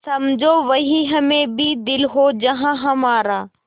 समझो वहीं हमें भी दिल हो जहाँ हमारा